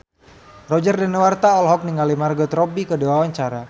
Roger Danuarta olohok ningali Margot Robbie keur diwawancara